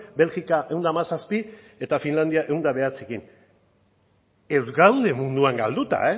belgika ehun eta hamazazpi eta finlandia ehun eta bederatzirekin ez gaude munduan galduta